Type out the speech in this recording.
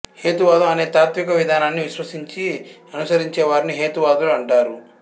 హేతువాదం అనే తాత్విక విధానాన్ని విశ్వసించి అనుసరించేవారిని హేతువాదులు అంటారు